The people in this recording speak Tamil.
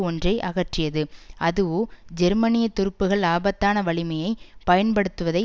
ஒன்றை அகற்றியது அதுவோ ஜெர்மனிய துருப்புக்கள் ஆபத்தான வலிமையை பயன்படுத்துவதை